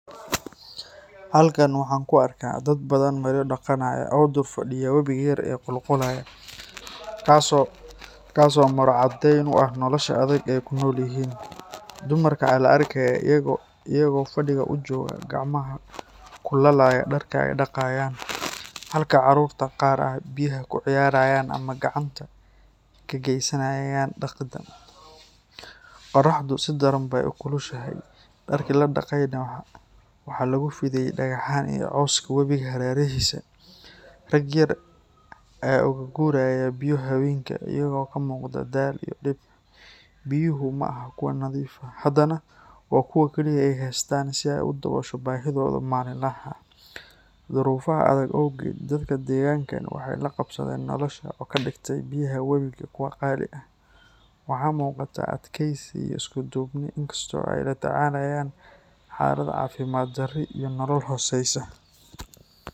Halkan waxaan ku arkaa dad baadhan maryo dhaqanaya oo dul fadhiya wabiga yar ee qulqulaya, kaas oo maro caddeyn u ah nolosha adag ee ay ku nool yihiin. Dumarka ayaa la arkayaa iyaga oo fadhiga u jooga, gacmaha ku laalaya dharka ay dhaqayaan, halka caruurta qaar ay biyaha ku ciyaarayaan ama gacanta ka geysanayaan dhaqidda. Qorraxdu si daran bay u kulushahay, dharkii la dhaqayna waxaa lagu fidiyay dhagxaan iyo cawska webiga hareerihiisa. Rag yar ayaa uga guraya biyo haweenka, iyagoo ka muuqda daal iyo dhib. Biyuhu ma aha kuwo nadiif ah, haddana waa kuwa kaliya ee ay haystaan si ay u daboosho baahidooda maalinlaha ah. Duruufaha adag awgeed, dadka deegaankan waxay la qabsadeen nolosha oo ka dhigtay biyaha webiga kuwo qaali ah. Waxa muuqata adkaysi iyo isku-duubni, inkasta oo ay la tacaalayaan xaalad caafimaad darro iyo nolol hooseysa.